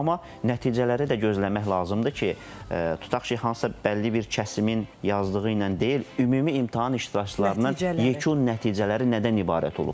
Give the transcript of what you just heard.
Amma nəticələri də gözləmək lazımdır ki, tutaq ki, hansısa bəlli bir kəsimin yazdığı ilə deyil, ümumi imtahan iştirakçılarının yekun nəticələri nədən ibarət olubdur?